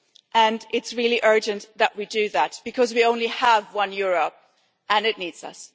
and it is really urgent that we do that because we only have one Europe and it needs us.